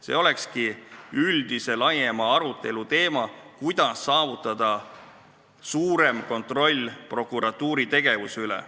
See võiks olla üldise laiema arutelu teema, kuidas saavutada suurem kontroll prokuratuuri tegevuse üle.